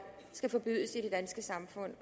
skal forbydes i det danske samfund